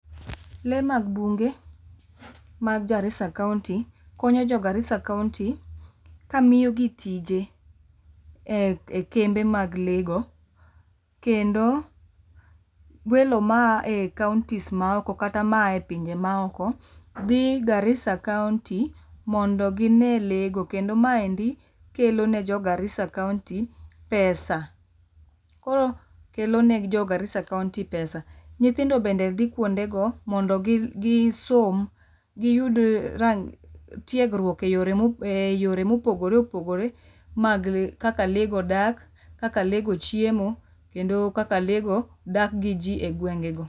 Lee mag bunge mag Garissa county konyo jo Garissa county kamiyogi tije e ekembe mag lee go. Kendo welo ma a e counties ma oko kata ma ae epinje ma oko dhi Garissa county mondo gi nee lee go. kendo ma endi kelo ne jo Garissa country pesa. Koro kelo ne jo Garissa county pesa. Nyithindo bende dhii kuondego mondo gi som gi yud tiegruok eyore eyore mopogore opogore mag kaka lee go dak, kaka lee go chiemo kendo kaka le go dak gi jii egwengego